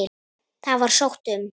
Það var sótt um.